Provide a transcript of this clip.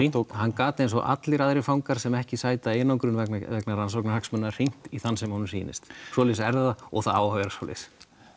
hann gat eins og allir aðrir fangar sem ekki sæta einangrun vegna vegna rannsóknarhagsmuna hringt í þann sem honum sýnist svoleiðis er það og það á að vera svoleiðis